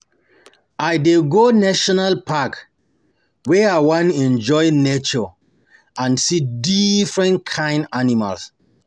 I dey go National park wen I wan enjoy nature and see different kain animals.